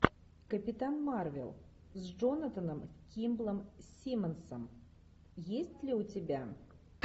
капитан марвел с джонатаном кимблом симмонсом есть ли у тебя